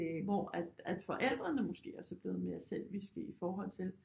Hvor at forældrene måske også er blevet mere selviske i forhold til